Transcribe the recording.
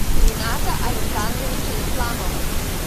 рината александровича исламова